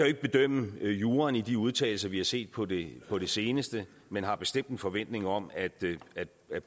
ikke bedømme juraen i de udtalelser vi har set på det på det seneste men har bestemt en forventning om at